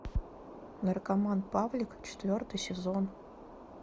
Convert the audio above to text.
наркоман павлик четвертый сезон